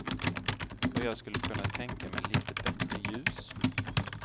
Och jag skulle kunna tänka mig lite bättre ljus.